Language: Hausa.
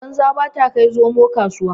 Banza baya kai zomo kasuwa.